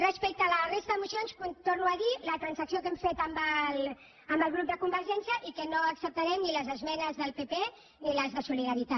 respecte a la resta d’esmenes ho torno a dir la transacció que hem fet amb el grup de convergència i unió i que no acceptarem ni les esmenes del pp ni les de solidaritat